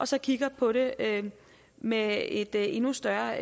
så kigger på det med et endnu større